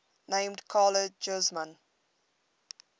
named carla guzman